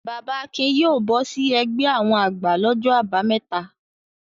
Bàbà Akin yóò bọ́ sí ẹgbẹ́ àwọn àgbà lọ́jọ́ àbámẹ́ta.